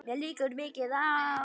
Mér liggur mikið á!